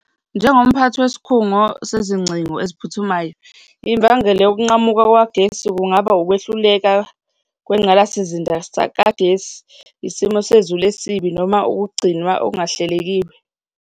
Njengomphathi wesikhungo sezingcingo eziphuthumayo, imbangela yokunqamuka kukagesi kungaba ukwehluleka kwengqalasizinda kagesi, isimo sezulu esibi noma ukugcinwa okungahlelekiwe.